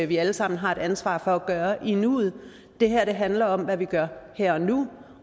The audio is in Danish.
vi alle sammen har et ansvar for at gøre i nuet det her handler om hvad vi gør her og nu